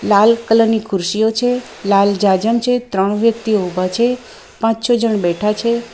લાલ કલરની ખુરશીઓ છે લાલ જાજમ છે ત્રણ વ્યક્તિઓ ઊભા છે પાંચ છો જણ બેઠા છે.